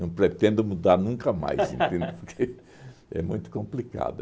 Não pretendo mudar nunca mais, entende? Porque é muito complicado.